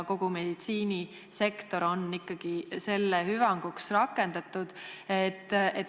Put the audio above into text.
Kogu meditsiinisektor on ikkagi selle hüvanguks rakendatud.